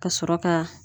Ka sɔrɔ ka